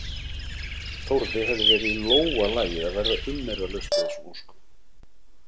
Þórði hefði verið í lófa lagið að verða umyrðalaust við þessum óskum.